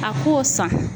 A k'o san